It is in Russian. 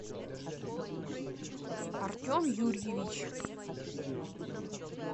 артем юрьевич